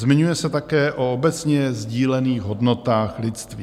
Zmiňuje se také o obecně sdílených hodnotách lidství.